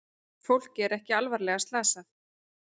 Fólkið er ekki alvarlega slasað